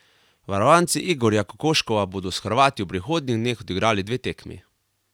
Varovanci Igorja Kokoškova bodo s Hrvati v prihodnjih dneh odigrali dve tekmi.